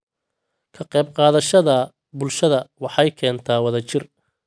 Ka qayb qaadashada bulshada waxay keentaa wadajir.